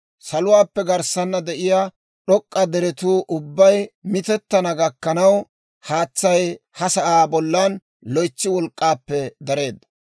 Saluwaappe garssaana de'iyaa d'ok'k'a deretuu ubbay mitettana gakkanaw, haatsay ha sa'aa bollan loytsi wolk'k'aappe dareedda.